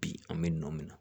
Bi an bɛ nɔɔn minɛ